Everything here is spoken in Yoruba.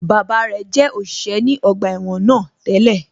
Bàbá rẹ̀ jẹ́ òṣìṣẹ́ ní ọgbà ẹ̀wọ̀n náà tẹ́lẹ̀